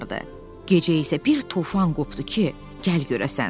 Gecə isə bir tufan qopdu ki, gəl görəsən.